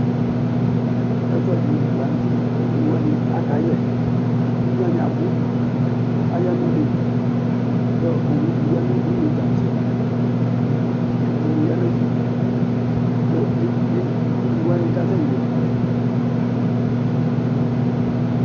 ɛfʊɛdɩ lanʊtɛ, ugniwanɩ aka yɛ, ugniwanɩ abʊ aya nʊ un'ɛtʊ, kʊ owudɩ ya nʊ une tãtse, itsu dɩnɩ ya nʊ ɛfɛ, kʊ egniwanɩ kasɛ yɛ